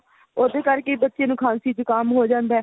ਉਹਦੇ ਕਰਕੇ ਹੀ ਬੱਚੇ ਨੂੰ ਖਾਂਸੀ ਜੁਕਾਮ ਹੋ ਜਾਂਦਾ